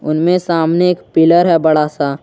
उनमें सामने एक पिलर है बड़ा सा।